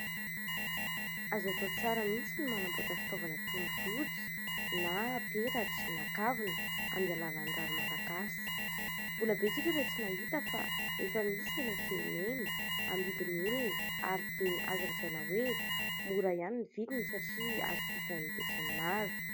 Azo atao tsara mihitsy ny manamboatra fitaovana toy ny rojo na peratra na kavina amin'ny alalan'ny rary malagasy. Mbola betsaka ireo tsy nahita fa efa misy eny an-tsena eny, amidin'ny olona ary dia azo lazaina hoe mora ihany ny vidiny satria azo jifain'ny besinimaro.